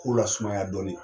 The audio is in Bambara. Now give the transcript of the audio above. K'o lasumaya dɔɔnin